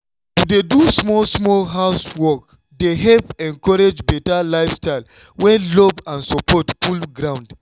to dey do small-small housework dey help encourage better lifestyle when love and support full ground.